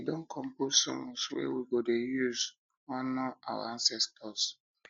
we don we don compose song wey we go dey use honour our ancestors